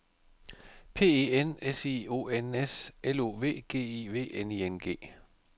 P E N S I O N S L O V G I V N I N G